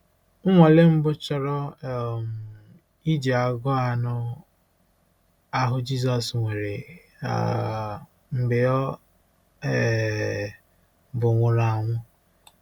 Nnwale mbụ chọrọ um iji agụụ anụ ahụ Jizọs nwere um mgbe ọ um bụ nwụrụ anwụ.